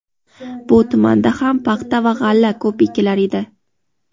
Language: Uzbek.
bu tumanda ham paxta va g‘alla ko‘p ekilar edi.